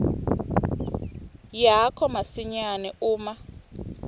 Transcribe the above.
yakho masinyane uma